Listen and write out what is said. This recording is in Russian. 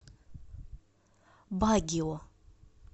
багио